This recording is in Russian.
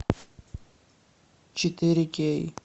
четыре кей